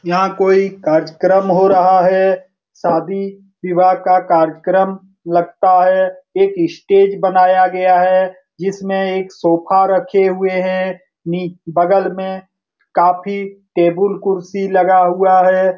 यहाँ कोई कार्यक्रम हो रहा है। शादी विवाह का कार्यक्रम लगता है। एक स्टेज बनाया गया है जिसमें एक सोफा रखे हुए हैं। नि बगल में काफी टेबुल कुर्सी लगा हुआ है।